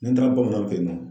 Ni n taara bamanan fɛ yen nɔ